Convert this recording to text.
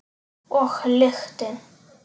Og lyktin.